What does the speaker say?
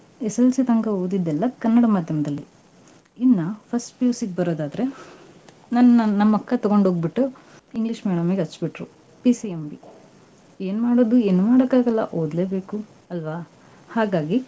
SSLC ತಂಕಾ ಓದಿದ್ದೆಲ್ಲಾ ಕನ್ನಡ ಮಾಧ್ಯಮದಲ್ಲಿ ಇನ್ನಾ first PUC ಗೆ ಬರೋದಾದ್ರೆ, ನನ್ ನಮ್ಮಕ್ಕ ತಗೊಂಡ್ಹೋಗ್ಬಿಟ್ಟು English medium ಗೆ ಹಚ್ಚಿಬಿಟ್ರು. PCMB ಏನ್ ಮಾಡೋದು, ಏನ್ ಮಾಡೋಕಾಗಲ್ಲಾ, ಓದ್ಲೇ ಬೇಕು ಅಲ್ವಾ? ಹಾಗಾಗಿ.